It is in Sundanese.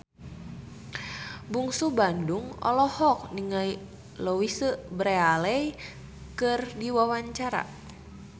Bungsu Bandung olohok ningali Louise Brealey keur diwawancara